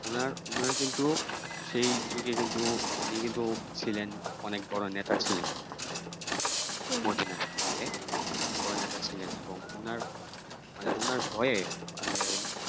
উনার উনার কিন্তু সেই যুগে কিন্তু উনি কিন্তু ছিলেন অনেক বড় নেতা ছিলেন হম মধ্যে উনি অনেক বড় নেতা ছিলেন এবং উনার মানে ওনার ভয়ে মানে